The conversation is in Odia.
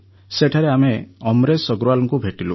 ସେଠାରେ ଆମେ ଅମରେଶ ଅଗ୍ରୱାଲଙ୍କୁ ଭେଟିଲୁ